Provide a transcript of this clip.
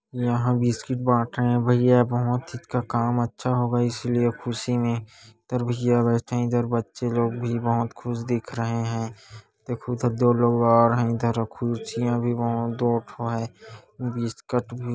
यहा बिस्किट बाट रहे भैया बोहोत का काम अच्छा होगा इसलिए खुशी मे इधर भैया बेठे है इधर बच्चे लोग भी बोहोत खुश दिख रहे है। देखो तो दो लोग और है इधर खुरचिया भी बोहोत है बिस्कुट भी --